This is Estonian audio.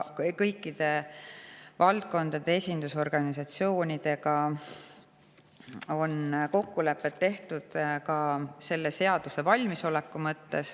Kõikide valdkondade esindusorganisatsioonidega on olemas kokkulepped, et ollakse selleks seaduseks valmis.